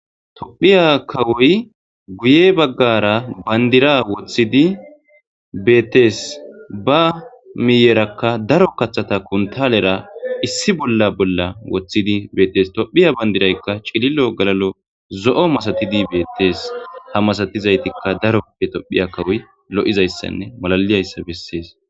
Tophiya kawoy guye baggara bandira woththidi beettees ba miyerakka daro kaththata kuntalera issi bolla bolla woththidi beetes tophiya bandiraykka cililo galalo zo'o masatidi beettees ha masatizaytikka daroppe tophiya kawoy lo'izayssanne malaliyayssa bessees.